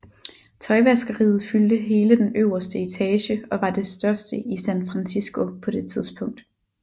Tøjvaskeriet fyldte hele den øverste etage og var det største i San Francisco på det tidspunkt